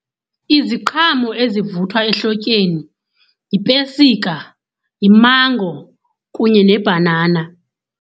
Iziqhamo ezivuthwa ehlotyeni yipesika, yimango kunye nebhanana.